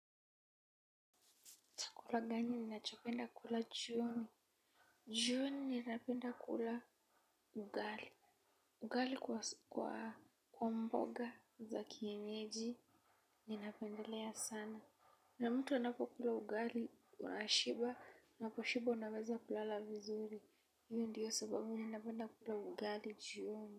Chakula gani ninachopenda kula jioni? Jioni ninapenda kula ugali. Ugali kwa mboga za kienyeji ninapendelea sana. Na mtu anapokula ugali unashiba na ukishiba unaweza kulala vizuri iyo ndiyo sababu ninapenda kula ugali jioni.